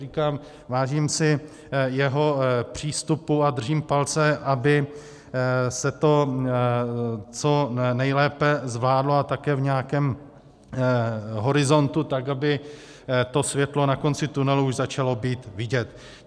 Říkám, vážím si jeho přístupu a držím palce, aby se to co nejlépe zvládlo a také v nějakém horizontu tak, aby to světlo na konci tunelu už začalo být vidět.